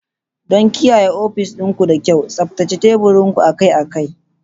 Don kiyaye ofis ɗin ku da kyau, tsaftace teburin ku akai-akai.